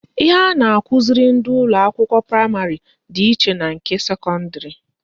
Ihe a na-akụziri ndị ụlọakwụkwọ praịmarị dị iche na nke sekọndịrị